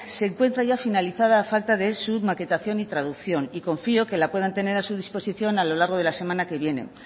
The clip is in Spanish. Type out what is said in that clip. se encuentra ya finalizada a falta de su maquetación y traducción y confío que la puedan tener a su disposición a lo largo de la semana que viene